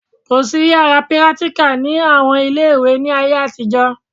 Kò sí yàrá pírátíkà ní àwọn ilé ìwé ní ayé àtijọ́